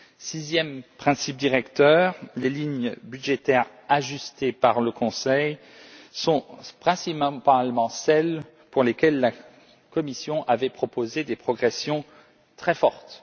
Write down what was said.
Sixième principe directeur les lignes budgétaires ajustées par le Conseil sont principalement celles pour lesquelles la Commission avait proposé des progressions très fortes.